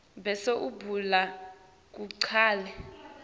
bese ubhala kugcwale